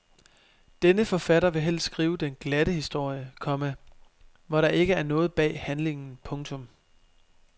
Denne forfatter vil helst skrive den glatte historie, komma hvor der ikke er noget bag handlingen. punktum